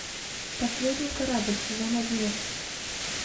последний корабль сезон одиннадцать